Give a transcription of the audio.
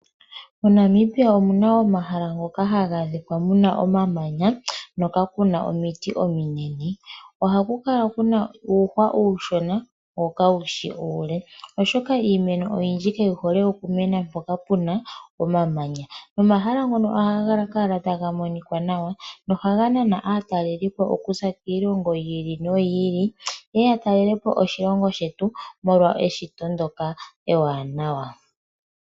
ONamibia omuna omahala moka haku adhika omamanya no kakuna omiiti ominene. Ohaku kala kuna uuhwa uushona wo kawushi uule. Oshoka iimeno oyindji kayi hole oku mena mpoka puna omamanya, nomahala ngono ohaga kala taga monikwa nawa. Nohaga nana aatalelipo kuza kiilongo yiili noyi ili yeye ya talelepo oshilongo shetu molwa eshito ndjoka ewanawa.